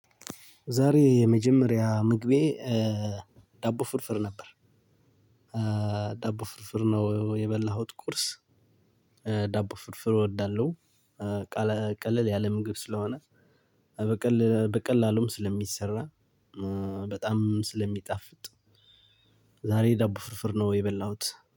ዛሬ የመጀመሪያ ምግቤ ዳቦ ፍርፍር ነበር። ዳቦ ፍርፍር ነው የበላሁት ቁርስ ዳቦ ፍርፍር እወዳለሁ። ቀለ ቀለል ያለ ምግብ ስለሆነ ኧብቅል በቀላሉም ስለሚሰራ በጣም ስለሚጣፍጥ። ዛሬ ዳቦ ፍርፍር ነው የበላሁት